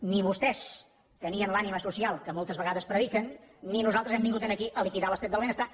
ni vostès tenien l’ànima social que moltes vegades prediquen ni nosaltres hem vingut aquí a liquidar l’estat del benestar